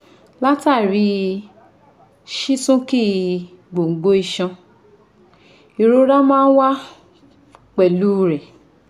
Látàrí sísúnkì gbòǹgbò iṣan ìrora máa ń wá pẹ̀lú u rẹ̀